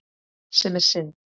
Sem er synd.